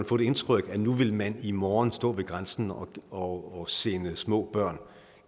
få det indtryk at nu vil man i morgen stå ved grænsen og og sende små børn